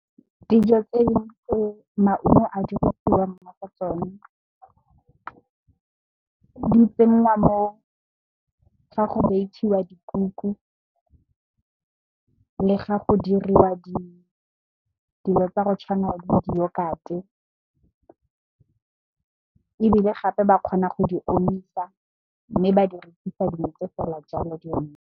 Dijo tse maungo a dirwang ka tsona di tsenngwa ga go bakiwa dikuku le ga go diriwa dilo tsa go tshwana le diyokate ebile, gape ba kgona go di omisa mme ba di rekisa dintse fela jalo di omile.